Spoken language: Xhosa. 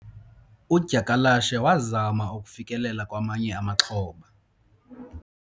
udyakalashe wazama ukufikelela kwamanye amaxhoba